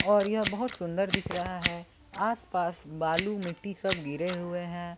और यह बहोत सुंदर दिख रहा है आस पास बालू मिट्टी सब गिरे हुए हैं।